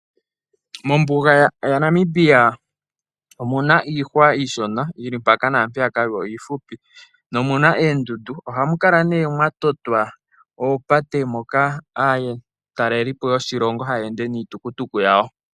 Mombuga yaNamibia omuna iihwa iishona yi li mpaka naampeyaka yo iihupi. Omuna oondundu mo ohamu kala nee mwa totwa oopate ndhoka aatelelipo yoshilongo haya ende niitukutuku yawo.